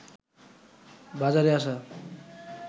বাজারে আসা